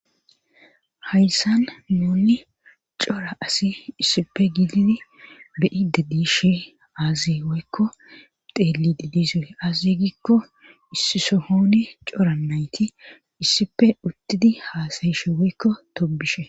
Hayssan muunni cora asi issipe gididi beyide diishe aazi woykko teeli di dizoy azi gikko issisohooni cora nayti issife uttidi haasayishe woykko tobishe.